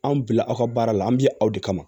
Anw bila aw ka baara la an bɛ ye aw de kama